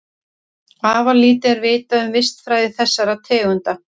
Afar lítið er vitað um vistfræði þessara tegunda.